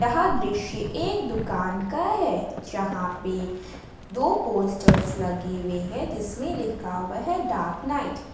यह दृश्य एक दुकान का है जहां पे दो पोस्टर लगे हुए हैं जिसमें लिखा हुआ है डाग नाइट ।